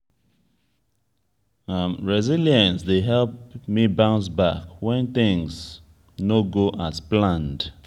resilience dey help me bounce back when things no go as planned.